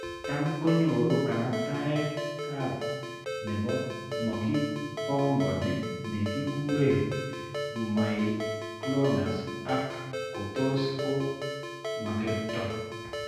Tam konyoru kanaktaetap ayta ne mokipong'oni ne kikure myoclonus, ak ko tos ko makerto.